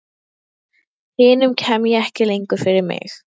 Hinum kem ég ekki lengur fyrir mig.